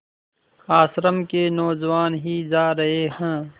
आश्रम के नौजवान ही जा रहे हैं